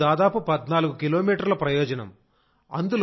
అప్పుడు దాదాపు 14 కిలోమీటర్ల ప్రయోజనం